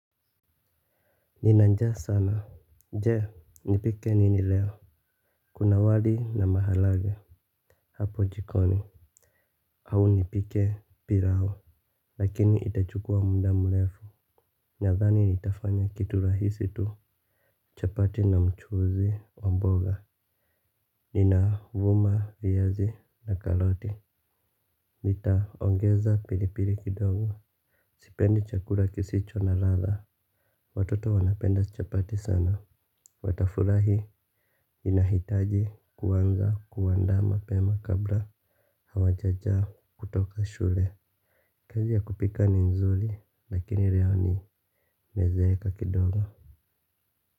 Nina njaa sana je nipike nini leo. Kuna wali na maharagwe. Hapo jikoni au nipike pilau lakini itachukua muda mrefu. Nadhani nitafanya kitu rahisi tu. Chapati na mchuuzi wa mboga nina vuma viazi na karoti. Nitaongeza pilipili kidogo. Sipendi chakula kisicho na ladha. Watoto wanapenda chapati sana. Watafurahi inahitaji kuanza kuandaa mapema kabla hawajajaa kutoka shule. Kazi ya kupika ni nzuri lakini rea nimezeeka kidogo.